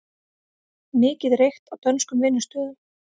Mikið reykt á dönskum vinnustöðum